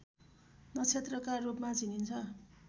नक्षत्रका रूपमा चिनिन्छ